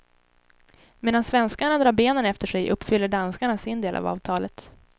Medan svenskarna drar benen efter sig uppfyller danskarna sin del av avtalet.